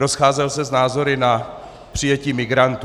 Rozcházel se s názory na přijetí migrantů.